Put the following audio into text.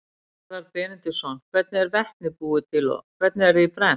Garðar Benediktsson: Hvernig er vetni búið til og hvernig er því brennt?